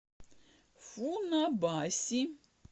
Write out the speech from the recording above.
фунабаси